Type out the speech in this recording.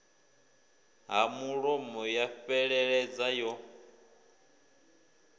ha mulomo ya fheleledza yo